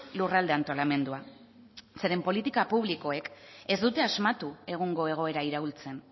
lurralde antolamendua zeren politika publikoek ez dute asmatu egungo egoera iraultzen